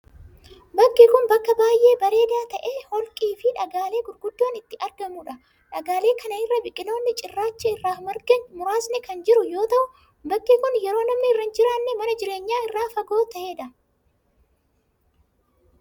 Bakki kun, bakka baay'ee bareedaa ta'e holqii fi dhagaalee guguddaan itti argamanii dha. Dhagaaleen kana irra biqiloonni cirracha irra margan muraasni kan jiru yoo ta'u, bakki kun yeroo namni irra hin jiraanne mana jireenyaa irraa fagoo ta'ee dha.